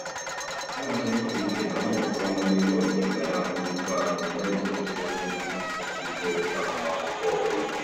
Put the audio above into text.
Ana m eche uche na ụmụakwụkwọ nọ n'ime obodo ga-alakwu nnukwu azụ n'oge ogologo oge nkwụsịtụ agụmakwụkwọ ọbụla.